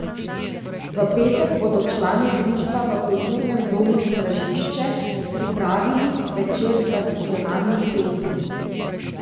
V petek bodo člani društva v Kulturnem domu Stražišče pripravili večer tradicionalnih pesmi.